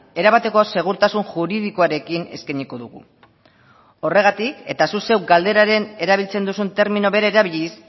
erabateko segurtasun juridikoarekin eskainiko dugu horregatik eta zuk zeuk galderaren erabiltzen duzun termino bera erabiliz